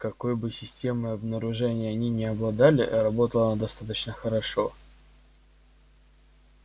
какой бы системой обнаружения они ни обладали работала она достаточно хорошо